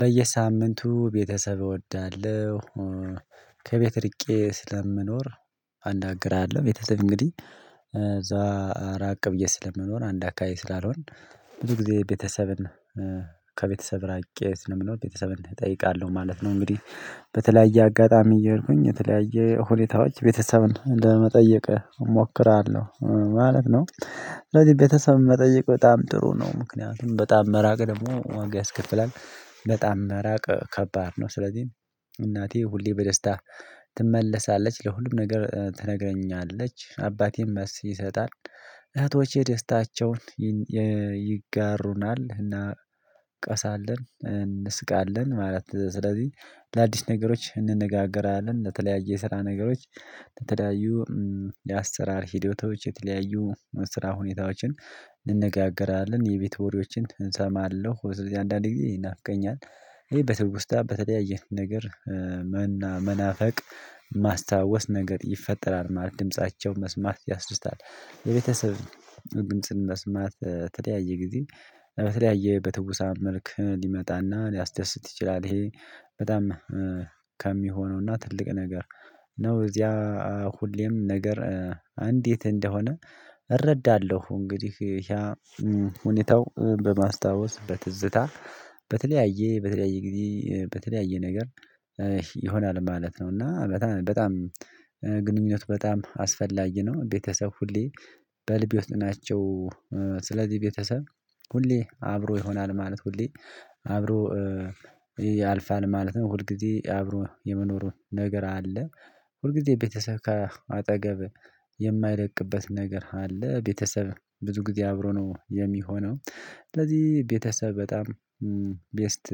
በየሳምንቱ ቤተሰብ እወዳለሁ። ከቤት ርቄ ስለምኖር። አናግራለሁ ቤተሰብ እንግዲህ እዛ ራቅ ብዬ ስለምኖር አንድ አካባቢ ስላልሆን። ብዙ ጊዜ ቤተሰብን ከቤተሰብ ራቄ ስለምኖር ቤተሰብን እጠይቃለሁ ማለት ነው። እንግዲህ በተለያየ አጋጣሚ እየሄድኩኝ በተለያየ ሁኔታዎች ቤተሰብን ለመጠየቅ እሞክራለሁ ማለት ነው። ስለዚህ ቤተሰብን መጠየቅ በጣም ጥሩ ነው ምክንያቱም በጣም መራቅ ደግሞ ዋጋ ያስከፍላል በጣም መራቅ ከባድ ነው። ስለዚህ እናቴ ሁሌ በደስታ ትመለሳለች ለሁሉም ነገር ትነግረኛለች አባቴም መልስ ይሰጣል። እህቶቼ ደስታቸውን ይጋሩናል እና ቀሳለን እንስቃለን። ማለት ስለዚህ ለአዲስ ነገሮች እንነጋገራለን ለተለያየ የስራ ነገሮች። ተለያዩ የአሰራር ሂደቶች የተለያዩ ስራ ሁኔታዎችን እንነጋገራለን። የቤት ወሬዎችን እንሳማለው ወይ እዚህ አንዳንድ ጊዜ ይናፍቀኛል። ይሄ በትውስታ በተለያየ ነገር መናፈቅ ማስታወስ ነገር ይፈጠራል። ማለት ድምፃቸው መስማት ያስደስታል። የቤተሰብ ድምጽን መስማት ተለያየ ጊዜ በተለያየ በትውሳም መልክ ሊመጣና ሊያስደስት ይችላል። ይሄ በጣም ከሚሆነውና ትልቅ ነገር ነው። እዚያ ሁሌም ነገር አንድ የት እንደሆነ እረዳለሁ። እንግዲህ ያ ሁኔታው በማስታወስ በትዝታ በተለያየ በተለያየ ጊዜ በተለያየ ነገር ይሆናል ማለት ነው። እና በጣም በጣም ግንኙነት በጣም አስፈላጊ ነው። ቤተሰብ ሁሌ በልብ የወጣናቸው ስለዚህ ቤተሰብ ሁሌ አብሮ ይሆናል። ማለት ሁሌ አብሮ ያልፋል ማለት ነው። ሁል ጊዜ አብሮ የመኖሩን ነገር አለ። ሁል ጊዜ ቤተሰብ ከአጠገብ የማይርቅበት ነገር አለ። ቤተሰብ ብዙ ጊዜ አብሮ ነው የሚሆነው። ስለዚህ ቤተሰብ በጣም ቤስት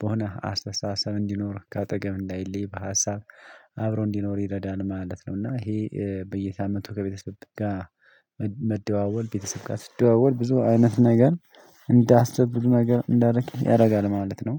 በሆነ አስተሳሳም እንዲኖር ከአጠገብ እንዳይለይ በሀሳብ አብሮ እንዲኖር ይረዳል ማለት ነውና። ይሄ በየሳምንቱ ከቤተሰብ ጋር መደዋወል ቤተሰብ ጋር ስደዋወል ብዙ አይነት ነገር እንዳስብ ብሎ ነገር እንዳደርግ ያደርጋል ማለት ነው።